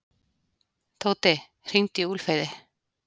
Tóti, hringdu í Úlfheiði.